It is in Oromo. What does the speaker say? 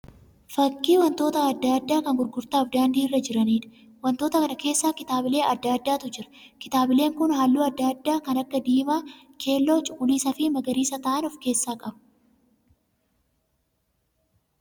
Fakkii wantoota adda addaa kan gurgurtaaf daandii irra jiraniidha. Wantoota kana keessa kitaabilee adda addaatu jira. Kitaabileen kun halluu adda addaa kan akka diimaa, keelloo, cuquliisa fi magariisa ta'aan of keessaa qaba.